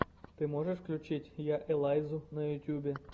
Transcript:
ты можешь включить я элайзу на ютюбе